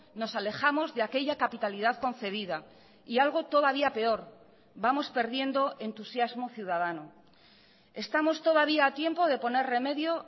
nos alejamos de aquella capitalidad concebida y algo todavía peor vamos perdiendo entusiasmo ciudadano estamos todavía a tiempo de poner remedio